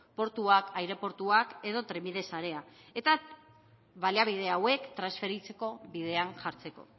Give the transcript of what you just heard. portuak aireportuak edo trenbide sarea eta baliabide hauek transferitzeko bidean jartzeko